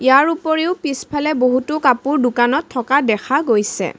ইয়াৰ উপৰিও পিছফালে বহুতো কাপোৰ দোকানত থকা দেখা গৈছে।